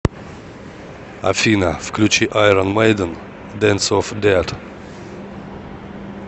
афина включи айрон мэйден дэнс оф дэт